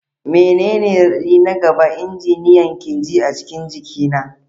Menene raɗaɗi na gaba injiniyan ke ji a cikin injina?